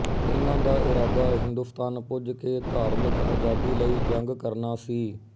ਇਨ੍ਹਾਂ ਦਾ ਇਰਾਦਾ ਹਿੰਦੁਸਤਾਨ ਪੁੱਜ ਕੇ ਧਾਰਮਿਕ ਅਜ਼ਾਦੀ ਲਈ ਜੰਗ ਕਰਨਾ ਸੀ